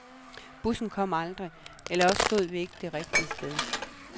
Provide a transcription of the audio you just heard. Bussen kom aldrig, eller også stod vi ikke det rigtige sted.